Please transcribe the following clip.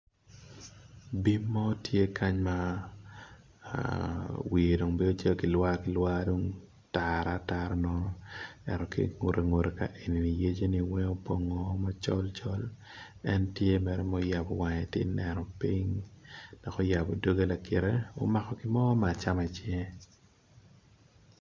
Bim mo tye kany ma wiye tye ma obedo lwar tar atara ento ki i ngute kany opong macol en tye ma oyabo wange tye ka neno piny omako gin mo bene i cinge